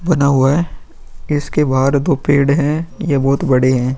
बना हुआ है इसके बाहर दो पेड़ हैं यह बहुत बड़े हैं।